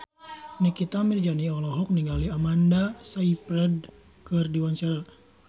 Nikita Mirzani olohok ningali Amanda Sayfried keur diwawancara